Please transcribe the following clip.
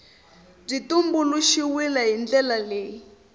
byi tumbuluxiwile hi ndlela leyi